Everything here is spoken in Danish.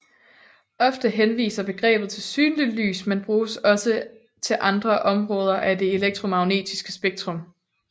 Ofte henviser begrebet til synligt lys men bruges også til andre områder af det elektromagnetiske spektrum